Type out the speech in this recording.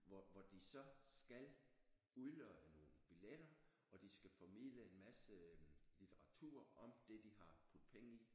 Hvor hvor de så skal udlodde nogle billetter og de skal formidle en masse litteratur om det de har puttet penge i